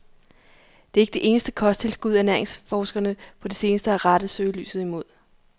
Det er ikke det eneste kosttilskud, ernæringsforskerne på det seneste har rettet søgelyset imod.